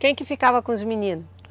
Quem que ficava com os meninos?